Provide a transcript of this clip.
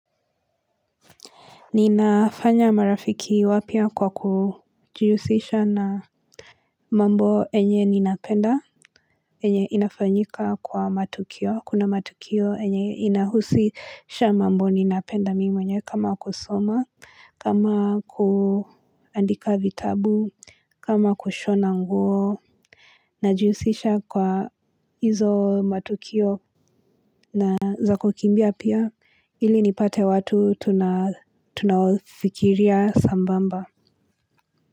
Ninafanya marafiki wapya kwa kujihusisha na mambo yenye ninapenda, yenye inafanyika kwa matukio, kuna matukio yenye inahusisha mambo ninapenda mimi mwenyewe kama kusoma, kama kuandika vitabu, kama kushona nguo. Najihusisha kwa hizo matukio na zakukimbia pia ili nipate watu tunafikiria sambamba.